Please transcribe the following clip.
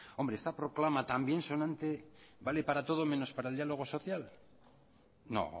hombre esta proclama tan bien sonante vale para todo menos para el diálogo social no